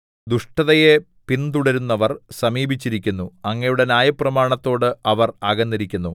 ദുഷ്ടതയെ പിന്തുടരുന്നവർ സമീപിച്ചിരിക്കുന്നു അങ്ങയുടെ ന്യായപ്രമാണത്തോട് അവർ അകന്നിരിക്കുന്നു